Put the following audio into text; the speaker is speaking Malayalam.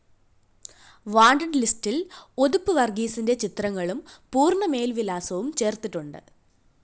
വാണ്ടഡ്‌ ലിസ്റ്റില്‍ ഉതുപ്പ് വര്‍ഗീസിന്റെ ചിത്രങ്ങളും പൂര്‍ണ മേല്‍വിലാസവും ചേര്‍ത്തിട്ടുണ്ട്